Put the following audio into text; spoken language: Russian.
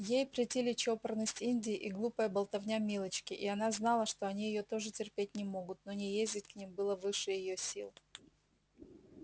ей претили чопорность индии и глупая болтовня милочки и она знала что они её тоже терпеть не могут но не ездить к ним было выше её сил